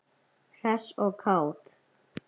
Hress og kát.